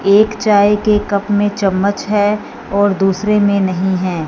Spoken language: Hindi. एक चाय के कप में चम्मच है और दूसरे में नहीं है।